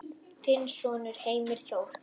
Þinn sonur Heimir Þór.